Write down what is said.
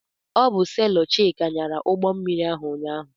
Ọ bụ selọ Chika nyara ụgbọmmiri ahụ ụnyaahụ.